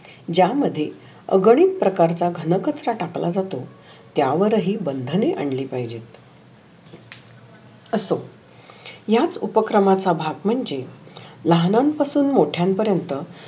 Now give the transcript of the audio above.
ज्या मधे अग्नी प्रकार चे घनकच टाकला जातो. त्या वर ही बंधने आनली पाहिजे. असो या उपक्रमाचा भाग म्हणजे लहानां पासुन मोठया पर्यन्त